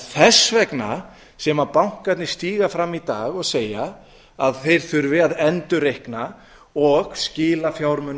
þess vegna sem bankarnir stíga fram í dag og segja að þeir þurfi að endurreikna og skila fjármunum